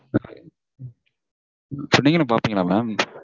அப்போ நீங்களும் பாப்பீங்களா mam